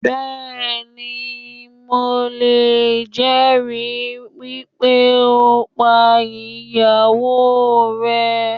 Bẹ́ẹ̀ni, mi ò lè jẹ̀ ẹ̀rí wípé ó pá ìyàwó rẹ̀